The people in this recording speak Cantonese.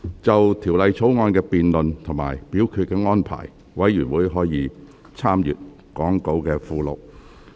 就《條例草案》的辯論及表決安排，委員可參閱講稿附錄。